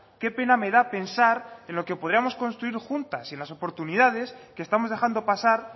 qué pena me da pensar en lo que podríamos construir juntas y en las oportunidades que estamos dejando pasar